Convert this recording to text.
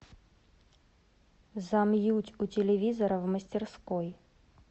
замьють у телевизора в мастерской